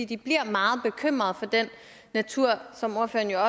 de bliver meget bekymrede for naturen som ordføreren jo